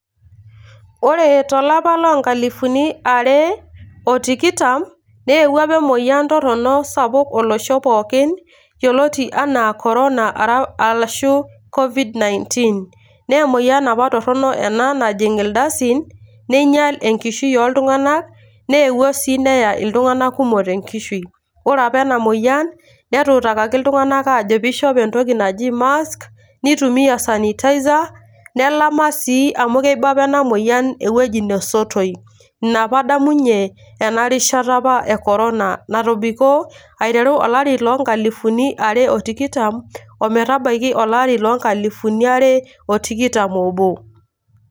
Ore tolapa lonkalifuni are otikitam, neewuo apa emoyian torronok sapuk olosho pookin, yioloti enaa Corona arashu Covid-19. Naa emoyian apa ena torrono najing' ildasin, neinyal enkishui oltung'ani, neewuo si neya iltung'anak kumok tenkishui. Ore apa enamoyian, netuutakaki iltung'anak ajoki pishop entoki naji mask ,nitumia sanitizer ,nelama si amu keiba apa ena moyian ewueji nesotoi. Ina apa adamunye enarishata apa ekorona natobiko olari lonkalifuni are otikitam, ometabaiki olari lonkalifuni are otikitam obo.